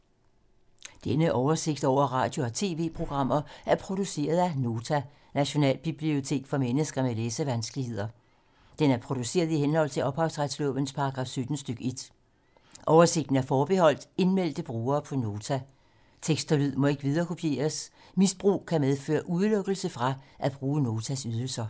Denne oversigt over radio og TV-programmer er produceret af Nota, Nationalbibliotek for mennesker med læsevanskeligheder. Den er produceret i henhold til ophavsretslovens paragraf 17 stk. 1. Oversigten er forbeholdt indmeldte brugere på Nota. Tekst og lyd må ikke viderekopieres. Misbrug kan medføre udelukkelse fra at bruge Notas ydelser.